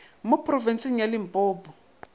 ka phorobentsheng ya limpopo a